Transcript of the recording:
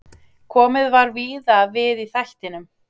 Komið var víða við í þættinum.